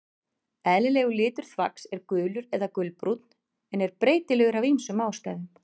Eðlilegur litur þvags er gulur eða gulbrúnn en er breytilegur af ýmsum ástæðum.